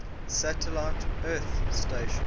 satellite earth stations